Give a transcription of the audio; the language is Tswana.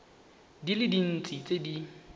di le dintsi tse di